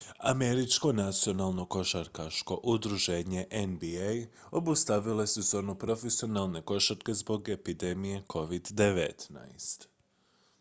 američko nacionalno košarkaško udruženje nba obustavilo je sezonu profesionalne košarke zbog epidemije covid-19